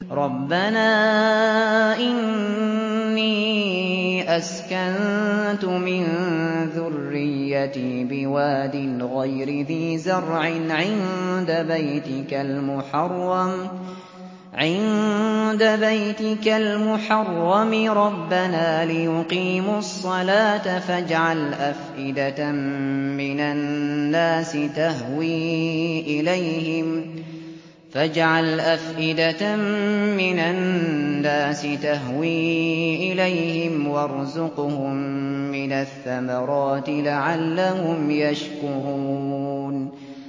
رَّبَّنَا إِنِّي أَسْكَنتُ مِن ذُرِّيَّتِي بِوَادٍ غَيْرِ ذِي زَرْعٍ عِندَ بَيْتِكَ الْمُحَرَّمِ رَبَّنَا لِيُقِيمُوا الصَّلَاةَ فَاجْعَلْ أَفْئِدَةً مِّنَ النَّاسِ تَهْوِي إِلَيْهِمْ وَارْزُقْهُم مِّنَ الثَّمَرَاتِ لَعَلَّهُمْ يَشْكُرُونَ